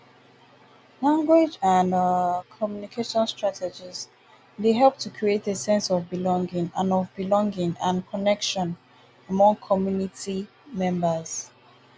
language and um communication strategies dey help to create a sense of belonging and of belonging and connection among community members.